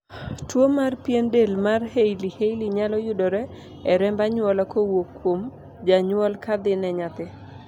tuo mar pien del mar hailey hailey nyalo yudore e remb anyuola kowuok kuom janyuol kadhi ne nyathi